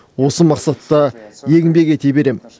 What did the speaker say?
осы мақсатта еңбек ете беремін